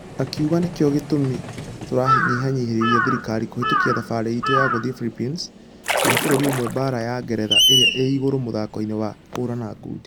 Akĩuga nĩkĩo gĩtũmi tŭrahinyereria thirikarĩ kũhĩtũkia thabarĩ itũ ya gũthie Phillipines kana bũrũri ũmwe baara ya ngeretha ĩrĩa ĩ igũrũ mũthako-inĩ wa kũhũrana ngundi.